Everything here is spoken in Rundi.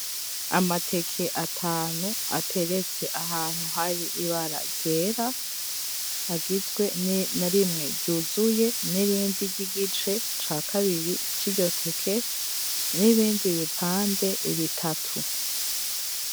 Amateke atanu ateretse ahantu hari ibara ryera agizwe na rimwe ryuzuye nirindi ryigice ca kabiri c’iryo teke n’ibindi bipande bitatu.